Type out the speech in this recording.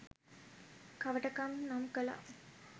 කවටකම් නම් කළා.